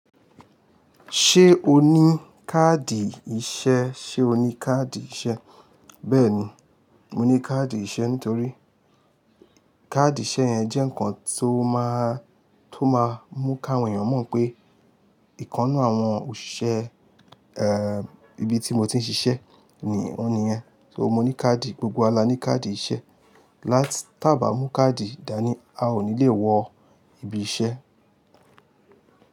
Ṣé o ní káàdì iṣẹ́? Sé o ní káàdì iṣẹ́? Bẹ́ẹ̀ni, mo ní káàdì iṣẹ́ nítorí káàdì iṣẹ́ yẹn jẹ́ ǹkan tó máa, tó máa mú káwọn èèyàn mọ̀ pé ìkan nu àwọn òṣìṣẹ́ eeh ibi tí mo ti ń ṣiṣẹ́ ni ó ni yen. So mo ní káàdì, gbogbo wa la ní káàdì iṣẹ́. Láti tá bá mú káàdì, dání a ò ní le wọ ibi iṣẹ́.